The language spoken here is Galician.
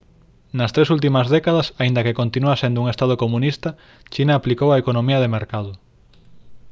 nas tres últimas décadas aínda que continúa sendo un estado comunista china aplicou a economía de mercado